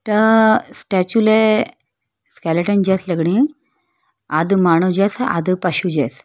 ट- स्टेचू ले स्केलटन जैस लागणी आदि मानव जैसा आद पशु जैस।